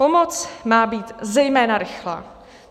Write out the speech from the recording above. Pomoc má být zejména rychlá.